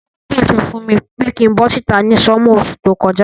Bàbá mi pàsẹ fùn mi pe kin bo síta ni summer osú to kojá